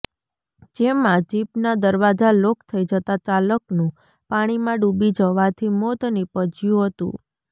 જેમાં જીપના દરવાજા લોક થઈ જતા ચાલકનું પાણીમાં ડુબી જવાથી મોત નિપજ્યું હતું